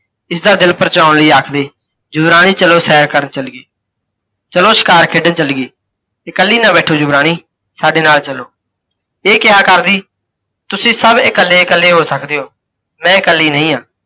ਇਸ ਦਾ ਦਿਲ ਪਰਚਾਉਣ ਲਈ ਆਖਦੇ, ਯੁਵਰਾਣੀ ਚਲੋ ਸੈਰ ਕਰਨ ਚਲੀਏ, ਚਲੋ ਸ਼ਿਕਾਰ ਖੇਡਣ ਚਲੀਏ, ਇਕੱਲੀ ਨਾ ਬੈਠੋ ਯੁਵਰਾਣੀ, ਸਾਡੇ ਨਾਲ ਚੱਲੋ। ਇਹ ਕਿਹਾ ਕਰਦੀ ਤੁਸੀਂ ਸੱਭ ਇਕੱਲੇ ਇਕੱਲੇ ਹੋ ਸਕਦੇ ਹੋ, ਮੈਂ ਇਕੱਲੀ ਨਹੀਂ ਹਾਂ,